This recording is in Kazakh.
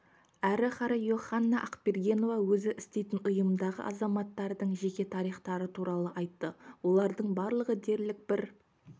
әрі қарай йоханна ақбергенова өзі істейтін ұйымдағы азаматтардың жеке тарихтары туралы айтты олардың барлығы дерлік бір